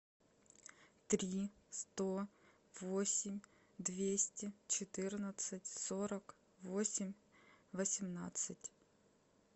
три сто восемь двести четырнадцать сорок восемь восемнадцать